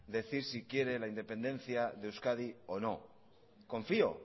decir si quiere la independencia de euskadi o no confío